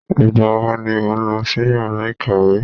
Ìgbà wo ni ó ń lọ sí yàrá ìkàwé?